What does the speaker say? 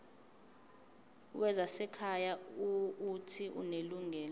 wezasekhaya uuthi unelungelo